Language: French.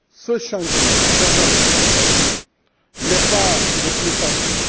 Ce chantier, chers amis, n'est pas des plus faciles.